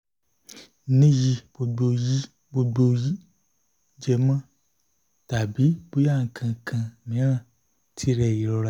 ni yi gbogbo yi gbogbo jẹmọ? tabi boya nkankan miran? ti re irora